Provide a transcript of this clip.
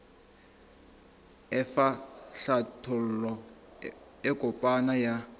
efa hlathollo e kopana ya